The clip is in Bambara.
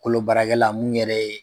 Kolo baarakɛla mun yɛrɛ ye